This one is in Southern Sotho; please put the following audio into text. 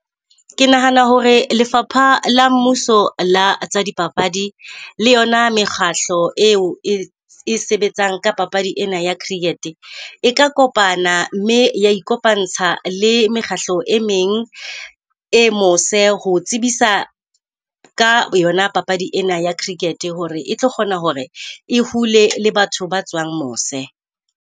Ke nahana hore lefapha la mmuso la tsa dipapadi le yona mekgahlo eo e e sebetsang ka papadi ena ya cricket e ka kopana mme ya ikopantsha le mekgahlo e meng e mose. Ho tsebisa ka yona papadi ena ya cricket hore e tlo kgona hore e hule le batho ba tswang mose.